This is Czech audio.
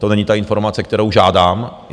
To není ta informace, kterou žádám.